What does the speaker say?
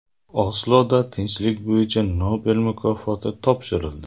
Osloda tinchlik bo‘yicha Nobel mukofoti topshirildi.